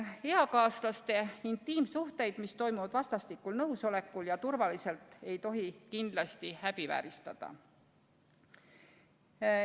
Eakaaslaste intiimsuhteid, mis toimuvad vastastikusel nõusolekul ja turvaliselt, ei tohi kindlasti häbivääristada.